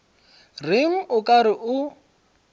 reng o ka re o